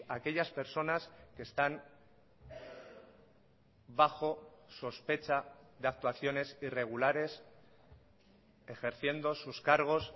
aquellas personas que están bajo sospecha de actuaciones irregulares ejerciendo sus cargos